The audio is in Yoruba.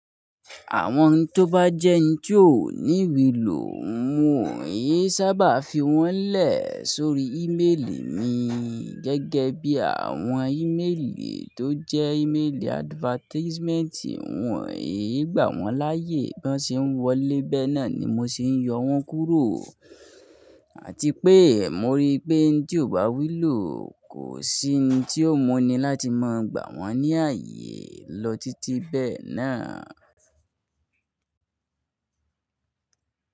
Àwọn hin tí ó bá jẹ́ hin tí ò ní wí lò, n ò yí n sábà fi wọ́n lẹ̀ sórí ìmelì mi gẹ́gẹ́ bí àwọn ìmelì tó jẹ́ ìmelì advertisementi N i gbà wọ́n láyé, bí wọ́n ṣe ń wọlé bẹ́ẹ̀ náà ni mo ṣe ń yọ wọ́n kúrò. Àti pé mo rí pé ẹni tí ò bá wu lò, kò sí hin tí ó mu ni láti máa gbà wọ́n ní ààyè lọ títí bẹ́ẹ̀ náà.